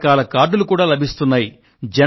రక రకాల కార్డులు కూడా లభిస్తున్నాయి